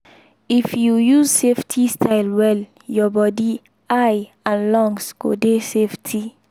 if you use safety style well your body eye and lungs go dey safety.